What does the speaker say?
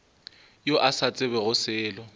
yo a sa tsebego selo